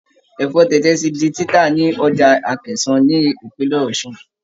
Ẹ̀fọ́ tẹ̀tẹ̀ ti di títà ní Ọjà Akẹ̀sán ni ìpínlẹ̀ Ọ̀ṣun.